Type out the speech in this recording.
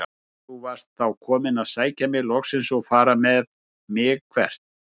Þú varst þá kominn að sækja mig loksins og fara með mig- hvert?